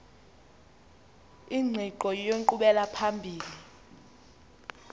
ingqiqo yenkqubela phambili